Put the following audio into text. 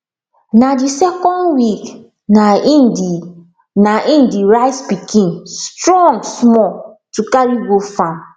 na dey second week nai dey nai dey rice pikin strong small to carry go farm